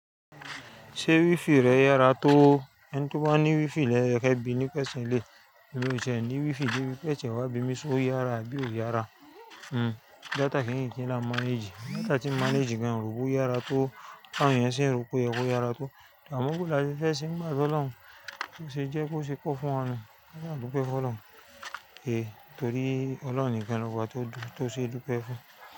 Ṣé wifi rẹ yára tó? Ẹni tí ó bá ní wifi ló yẹ ké bi ní question eléyi, èmi ò ṣẹ̀ ní wifi débi pé ẹ̀ṣẹ̀ wa bími só yára àbí ò yára. Hmm data kìn kin kin lá n manage, data ti manage gan n rò bó yára tó, tàwọn èeyàn ṣe ń ro pé oye kó yára tó. Amọ́ bó lá ṣe fẹ́ ṣe nígbà tí Ọlọ́run ṣe jẹ́ kó ṣe kó fún wa nu, a sa dúpẹ́ fún Ọlọ́run. Kìí torí Ọlọ́run nìkan ni ọba tó dùn tó ṣe dúpẹ́ fún.